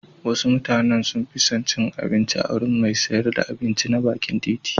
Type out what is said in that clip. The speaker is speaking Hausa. Wasu mutanen sun fi cin abinci a wurin mai sayar da abinci na bakin titi.